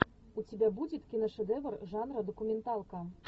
у тебя будет киношедевр жанра документалка